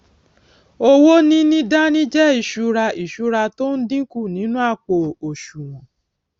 owó níní dání jé ìsúra ìsúra tó n dínkù nínú àpò òsùwòn